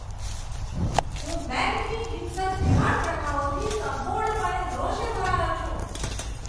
હું બેંકની હિંસક ધિરાણ પ્રથાઓથી સંપૂર્ણપણે રોષે ભરાયો છું.